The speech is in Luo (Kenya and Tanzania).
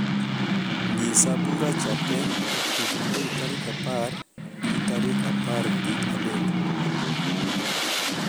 nyisa buracha te e kind mei tarik apar gi tarik aparga dek